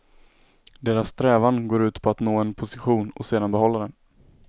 Deras strävan går ut på att nå en position och sedan behålla den.